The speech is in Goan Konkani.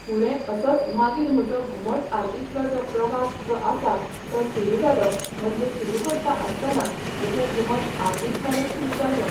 फुडें असोच मागीर म्हजो घुमट आरतींतलोे जो प्रवास जो आसा तो सुरू जालो म्हणजे सुरू करता आसतना म्हजें घुमट आरतींतल्यानूच सुरू जाल्लें